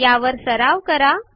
या स्थरावर सराव करा